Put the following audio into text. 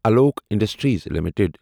Alok industries limited